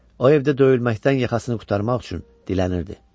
O evdə döyülməkdən yaxasını qurtarmaq üçün dilənirdi.